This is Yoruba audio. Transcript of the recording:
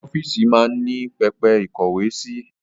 Ọ́fíìsì máa ń ní pẹpẹ ìkówe sí